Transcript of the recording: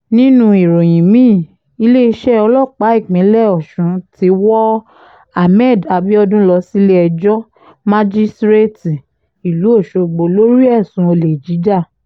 nínú ìròyìn mi-ín iléeṣẹ́ ọlọ́pàá ìpínlẹ̀ ọ̀sùn ti wọ hammed abiodun lọ sílé-ẹjọ́ májísrèétì ìlú ọ̀ṣọ́gbó lórí ẹ̀sùn olè jíjà